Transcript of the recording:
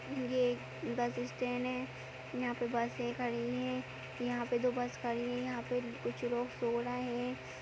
ये एक bus stand है यहाँ पे बसें खड़ीं हैं यहाँ पे दो बस खड़ीं हैं यहाँ पे कुछ लोग सो रहे हैं।